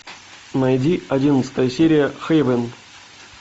найди одиннадцатая серия хейвен